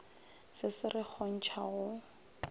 se se re kgontša go